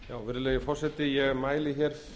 virðulegi forseti ég mæli hér fyrir